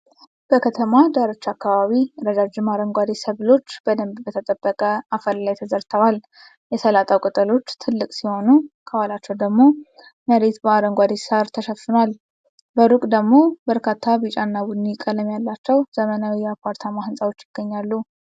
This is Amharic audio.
በከተማ ዳርቻ አካባቢ ረዣዥም አረንጓዴ ሰብሎች በደንብ በተጠበቀ አፈር ላይ ተዘርተዋል። የሰላጣው ቅጠሎች ትልቅ ሲሆኑ፣ ከኋላቸው ያለው መሬት በአረንጓዴ ሳር ተሸፍኗል። በሩቅ ደግሞ በርካታ ቢጫና ቡኒ ቀለም ያላቸው ዘመናዊ የአፓርታማ ሕንፃዎች ይገኛሉ።